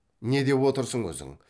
не деп отырсың өзің